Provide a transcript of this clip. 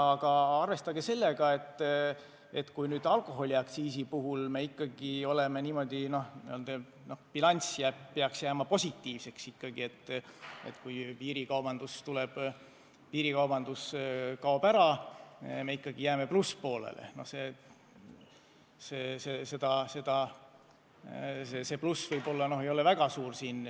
Aga arvestage sellega, et alkoholiaktsiisi muudatuste puhul bilanss peaks ikkagi jääma positiivseks: kui piirikaubandus kaob ära, me jääme plusspoolele, kuigi see pluss võib-olla ei ole väga suur.